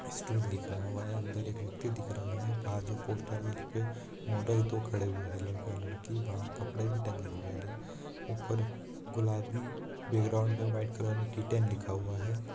Stool दिखरा हुआ है अंदर एक व्यक्ति दिख रहा है बाहर जो पोस्टर है उसपे मॉडल दो खड़े हुए है लड़का-लड़की बाहर कपड़े भी टंग हुए है। ऊपर गुलाबी बैकग्राउंड में वाईट कलर मे टिटेन लिखा हुआ है।